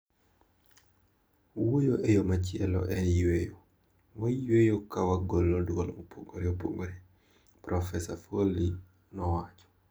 Wuoyo e yo machielo en yueyo, wayueyo ka wagolo duol mopogore opogore, Profesa Foley ne owacho.